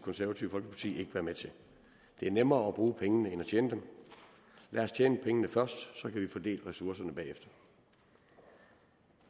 konservative folkeparti ikke være med til det er nemmere at bruge pengene end at tjene dem lad os tjene pengene først så kan vi fordele ressourcerne bagefter